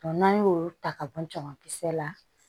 n'an y'o ta ka bɔ jamakisɛ la